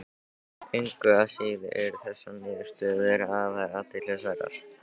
Engu að síður eru þessar niðurstöður afar athyglisverðar.